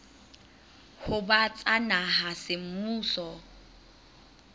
ho ba tsa naha semmuso